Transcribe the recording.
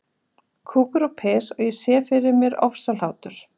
Kúkur og piss- og ég sá fyrir mér ofsahlátur.